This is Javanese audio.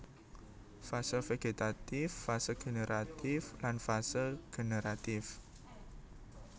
Fase vegetatif fase generatif lan fase generatif